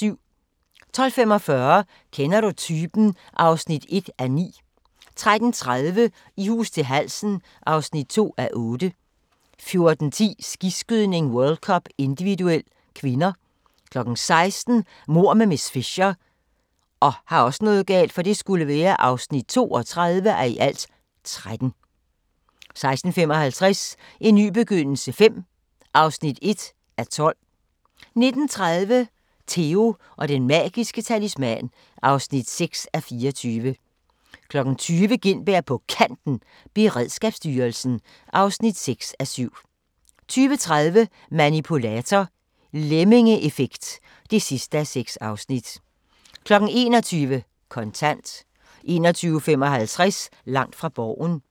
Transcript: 12:45: Kender du typen? (1:9) 13:30: I hus til halsen (2:8) 14:10: Skiskydning: World Cup - individuel (k) 16:00: Mord med miss Fisher (32:13) 16:55: En ny begyndelse V (1:12) 19:30: Theo & Den Magiske Talisman (6:24) 20:00: Gintberg på Kanten – Beredskabsstyrelsen (6:7) 20:30: Manipulator – Lemmingeeffekt (6:6) 21:00: Kontant 21:55: Langt fra Borgen